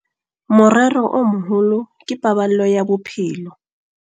Morero o moholo ke paballo ya bophelo.